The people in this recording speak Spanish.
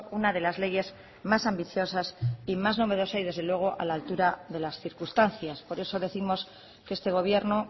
una de las leyes más ambiciosas y más novedosa y desde luego a la altura de las circunstancias por eso décimos que este gobierno